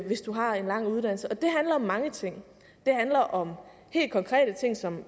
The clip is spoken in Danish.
hvis du har en lang uddannelse det handler om mange ting det handler om helt konkrete ting som